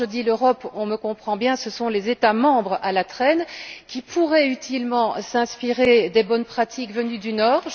Quand je dis l'Europe, on me comprend bien, je parle des États membres à la traîne, qui pourraient utilement s'inspirer des bonnes pratiques venues du Nord.